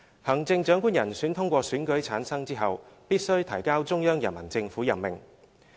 行政長官人選通過選舉產生後，必須提交中央人民政府任命。